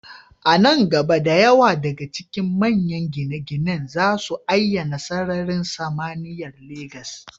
A nan gaba, da yawa daga cikin manyan gine-ginen za su ayyana sararin samaniyar Legas.